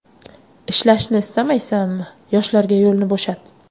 Ishlashni istamaysanmi, yoshlarga yo‘lni bo‘shat!